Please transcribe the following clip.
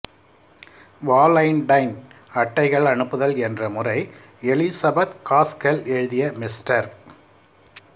Valentine அட்டைகள் அனுப்புதல் என்ற முறை எலிசபெத் காஸ்கெல் எழுதிய மிஸ்டர்